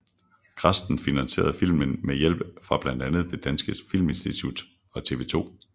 Grasten finansierede filmen med hjælp fra blandt andre Det Danske Filminstitut og TV 2